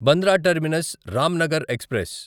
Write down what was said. Bandra terminus Ramnagar express